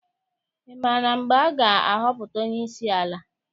Ị maara mgbe a ga-ahọpụta onyeisi ala?